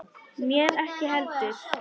Mér ekki heldur.